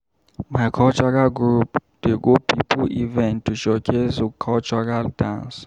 My cultural group dey go pipo event to showcase we cultural dance.